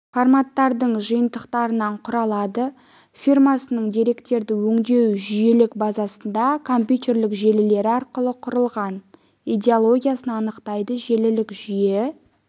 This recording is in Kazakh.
форматтардың жиынтықтарынан құралады фирмасының деректерді өңдеу жүйелік базасында компьютерлік желілері арқылы құрылған идеологиясын анықтайды желілік жүйе